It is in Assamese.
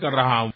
আচ্ছা